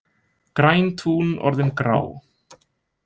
Græn tún orðin grá